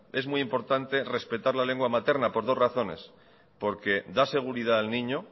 es muy importante respetar la lengua materna por dos razones porque da seguridad al niño